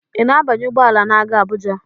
Ị na-abanye ụgbọ ala na-aga Abuja?